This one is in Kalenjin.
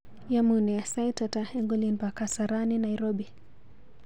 Yamunee, sait ata eng olin pa Kasarani, Nairobi.